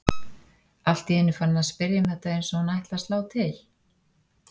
Allt í einu farin að spyrja um þetta eins og hún ætli að slá til.